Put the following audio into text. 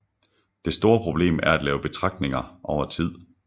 Det store problem er at lave betragtninger over tid